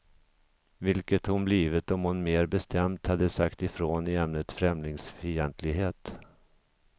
Vilket hon blivit om hon mer bestämt hade sagt ifrån i ämnet främlingsfientlighet.